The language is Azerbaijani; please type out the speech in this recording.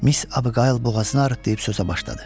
Miss Abuqayl boğazını arıdıb sözə başladı.